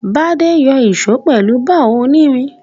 Bádé n yo ìso pèlu bar onírin